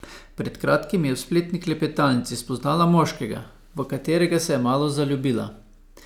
Pred kratkim je v spletni klepetalnici spoznala moškega, v katerega se je malo zaljubila.